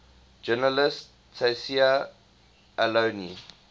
journalist tayseer allouni